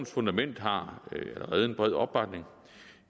fundament har allerede en bred opbakning